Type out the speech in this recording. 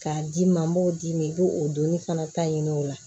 K'a d'i ma n b'o d'i ma i b'o doni fana ta ɲini o la